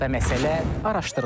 və məsələ araşdırılır.